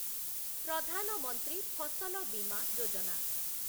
Pradhan Mantri Fasal Bima Yojana